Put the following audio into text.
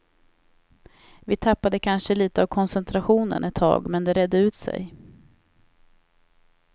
Vi tappade kanske lite av koncentrationen ett tag men det redde ut sig.